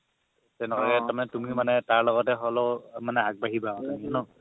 তেনেহ'লে তুমি মনে তাৰ লগত হ'লে মানে আগবাঢ়িবা আৰু তেনে ন